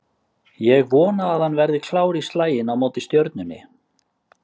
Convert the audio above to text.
Ég vona að hann verði klár í slaginn á móti Stjörnunni